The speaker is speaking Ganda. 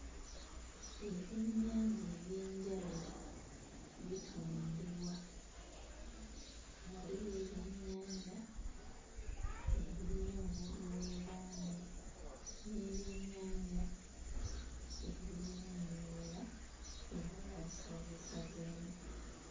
Ebyennyanja eby'enjawulo bitundibwa waliwo ebyennyanja ebirina obugulu obungi n'ebyennyanja ebirina emiwuula era babisazeesazeemu.